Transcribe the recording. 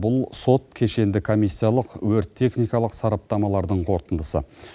бұл сот кешенді комиссиялық өрт техникалық сараптамалардың қорытындысы